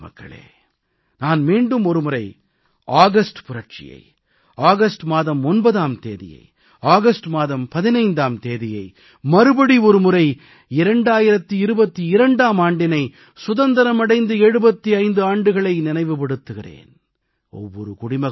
எனதருமை நாட்டு மக்களே நான் மீண்டும் ஒருமுறை ஆகஸ்ட் புரட்சியை ஆகஸ்ட் மாதம் 9ஆம் தேதியை ஆகஸ்ட் மாதம் 15ஆம் தேதியை மறுபடி ஒருமுறை 2022ஆம் ஆண்டினை சுதந்திரம் அடைந்து 75 ஆண்டுகளை நினைவுபடுத்துகிறேன்